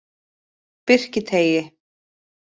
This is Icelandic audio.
Birkiteigi